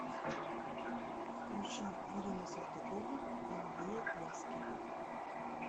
включи ирина салтыкова голубые глазки